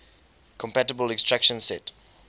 compatible instruction set